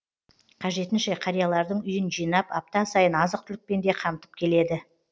қажетінше қариялардың үйін жинап апта сайын азық түлікпен де қамтып келеді